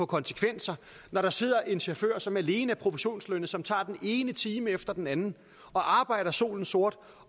konsekvenser når der sidder en chauffør som alene er provisionslønnet og som tager den ene time efter den anden og arbejder solen sort